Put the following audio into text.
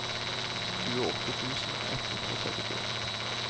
tjueåtte tusen ett hundre og trettifire